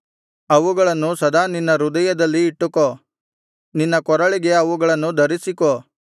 ಅವುಗಳನ್ನು ಸದಾ ನಿನ್ನ ಹೃದಯದಲ್ಲಿ ಇಟ್ಟುಕೋ ನಿನ್ನ ಕೊರಳಿಗೆ ಅವುಗಳನ್ನು ಧರಿಸಿಕೋ